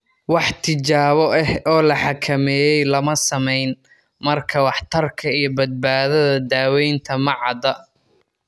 Wax tijaabo ah oo la xakameeyey lama samayn, markaa waxtarka iyo badbaadada daawaynta ma cadda.